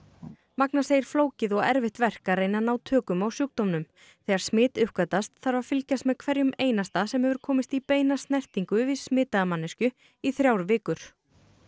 magna segir flókið og erfitt verk að reyna að ná tökum á sjúkdómnum þegar smit uppgötvast þarf að fylgjast með hverjum einasta sem hefur komist í beina snertingu við smitaða manneskju í þrjár vikur